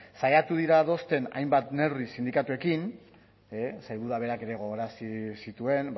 saiatu dira adosten hainbat neurri sindikatuekin sailburuak berak ere gogorarazi zituen